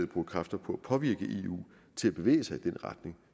bruger kræfter på at påvirke eu til at bevæge sig i den retning